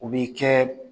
U b'i kɛ